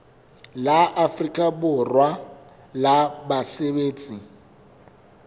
la afrika borwa la basebetsi